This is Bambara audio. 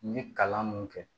N ye kalan mun kɛ